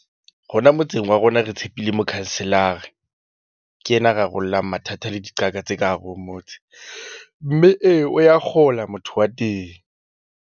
Rona motseng wa rona re tshepile mokhanselara. Ke yena ya rarollang mathata le diqaka tse ka hare ho motse mme e o ya kgola motho wa teng.